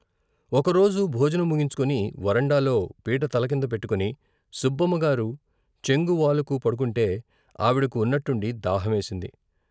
ఒకరోజు భోజనం ముగించుకొని వరండాలో పీట తలకింద పెట్టుకుని సుబ్బమ్మగారు చెంగు వాలుకు పడుకుంటే ఆవిడకి ఉన్నట్టుండి దాహమేసింది.